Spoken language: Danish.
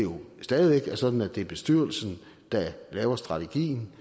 stadig væk er sådan at det er bestyrelsen der laver strategien